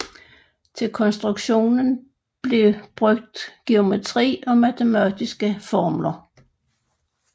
Til konstruktionen blev brugt geometri og matematiske formler